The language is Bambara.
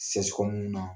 na